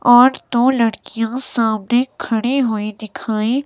और दो लड़कियां सामने खड़ी हुई दिखाई।